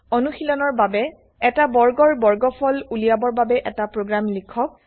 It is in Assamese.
অনুশীলনৰ বাবে এটা বৰ্গৰ বৰ্গফল উলিয়াবৰ বাবে এটা প্ৰগ্ৰেম লিখক